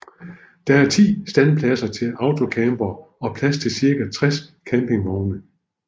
Der er 10 standpladser til autocampere og plads til cirka 60 campingvogne